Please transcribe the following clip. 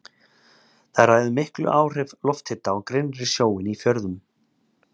Þar ræður miklu áhrif lofthita á grynnri sjóinn í fjörðum.